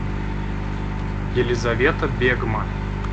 елизавета бегма